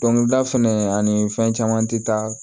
Dɔnkilida fɛnɛ ani fɛn caman te taa